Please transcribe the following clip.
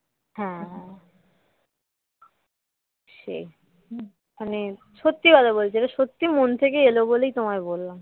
হ্যাঁ সেই মানে সত্যি কথা বলছি সত্যি মন থেকে এলো বলেই তোমায় বললাম